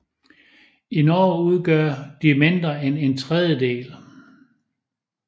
I Norge udgør de mindre end en tredjedel